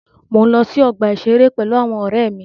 Mo ǹ lọ sí ọgbà ìṣeré pẹ̀lú àwọn ọ̀rẹ́ mi.